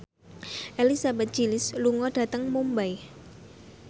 Elizabeth Gillies lunga dhateng Mumbai